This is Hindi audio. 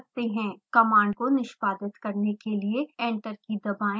command को निष्पादित करने के लिए enter key दबाएँ